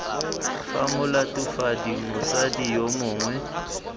fa molatofadiwa motsadi yo mongwe